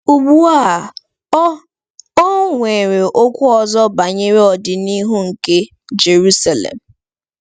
Ugbu a, o o nwere okwu ọzọ banyere ọdịnihu nke Jeruselem.